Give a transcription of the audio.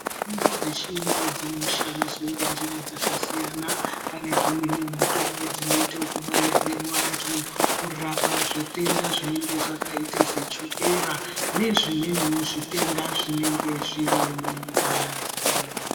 Mitombo dzechiyungu dzinoshandiswa ngenjira dzaakasiyana panedzimweni mitombo dzinoitwe kubaire muantu kurape zvitenda zvinenge zvakaite kunge chokera nezvimweniwo zvitenda zvinenge zviri mungazi.